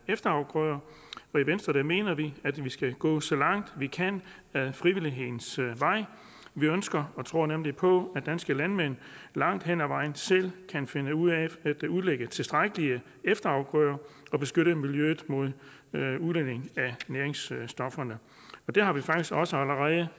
efterafgrøder i venstre mener vi at vi skal gå så langt vi kan ad frivillighedens vej vi ønsker og tror nemlig på at danske landmænd langt hen ad vejen selv kan finde ud af at udlægge tilstrækkelige efterafgrøder og beskytte miljøet mod udledning af næringsstofferne det har vi faktisk også allerede